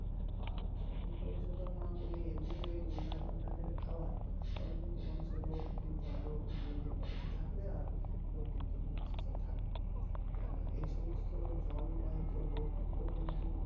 আর যদি পরিশোধন না করে এমনি ওই নোংরা জলটাকে খাওয়াই তাহলে কিন্তু মানুষের রোগ কিন্তু আরো দিন দিন বাড়তে থাকবে আর লোক কিন্তু মরতে থাকবে কারণ এইসমস্ত জল বাহিত রোগগুলো কিন্তু